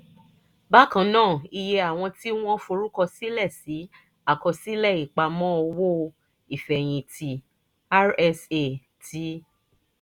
bákan náà iye àwọn tí wọ́n forúkọsílẹ̀ sí àkọsílẹ̀ ìpamọ́ owó ìfẹ̀yìntì rsa ti